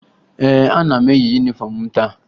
Ee, ana m eyi yunifọmụ m taa